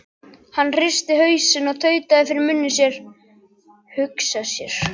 Hann hristi hausinn og tautaði fyrir munni sér: Hugsa sér.